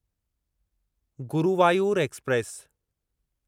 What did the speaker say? Guruvayur express